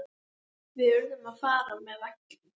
Við urðum að fara með veggjum.